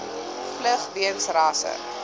vlug weens rasse